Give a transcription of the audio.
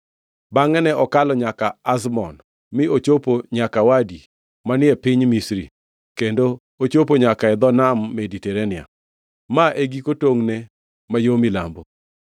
Bangʼe ne okalo nyaka Azmon mi ochopo nyaka Wadi manie piny Misri kendo ochopo nyaka e dho Nam Mediterania. Ma e giko tongʼne ma yo milambo.